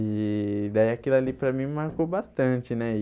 E daí aquilo ali para mim marcou bastante, né?